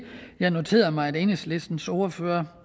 jeg noterede mig at enhedslistens ordfører